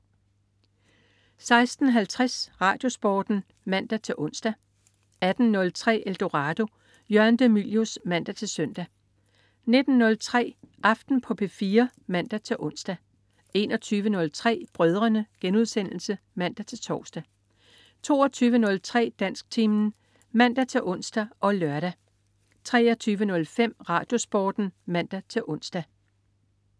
16.50 RadioSporten (man-ons) 18.03 Eldorado. Jørgen de Mylius (man-søn) 19.03 Aften på P4 (man-ons) 21.03 Brødrene* (man-tors) 22.03 Dansktimen (man-ons og lør) 23.05 RadioSporten (man-ons)